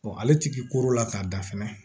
ale ti koro la k'a da fɛnɛ